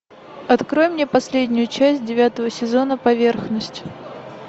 открой мне последнюю часть девятого сезона поверхность